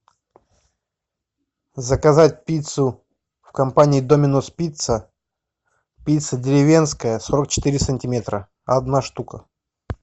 заказать пиццу в компании доминос пицца пицца деревенская сорок четыре сантиметра одна штука